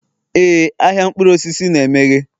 Éè ahịa mkpụrụ osisi na-emeghe.